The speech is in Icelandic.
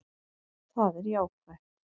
Það er jákvætt